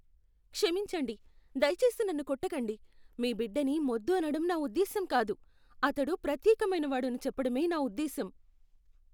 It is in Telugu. క్షమించండి, దయచేసి నన్ను కొట్టకండి. మీ బిడ్డని మొద్దు అనడం నా ఉద్దేశ్యం కాదు. అతడు ప్రత్యేకమైనవాడు అని చెప్పడమే నా ఉద్దేశ్యం.